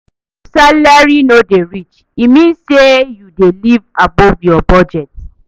If salary no dey reach, e mean say you dey live above your budget.